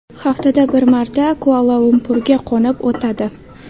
Haftada bir marta Kuala-Lumpurga qo‘nib o‘tadi.